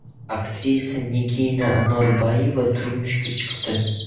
Aktrisa Nigina Anorboyeva turmushga chiqdi.